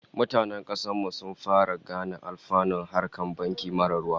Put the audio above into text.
Mutanen kasar mu sun fara gane alfanun harkar banki marar ruwa